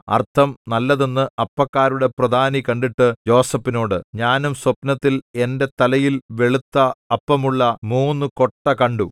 അർത്ഥം നല്ലതെന്ന് അപ്പക്കാരുടെ പ്രധാനി കണ്ടിട്ട് യോസേഫിനോട് ഞാനും സ്വപ്നത്തിൽ എന്റെ തലയിൽ വെളുത്ത അപ്പമുള്ള മൂന്നു കൊട്ട കണ്ടു